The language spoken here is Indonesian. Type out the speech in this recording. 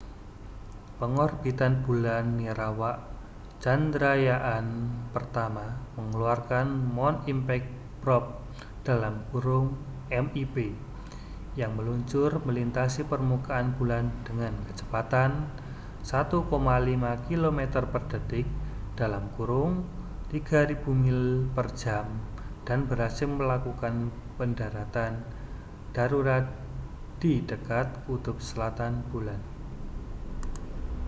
pengorbit bulan nirawak chandrayaan-1 mengeluarkan moon impact probe mip yang meluncur melintasi permukaan bulan dengan kecepatan 1,5 kilometer per detik 3.000 mil per jam dan berhasil melakukan pendaratan darurat di dekat kutub selatan bulan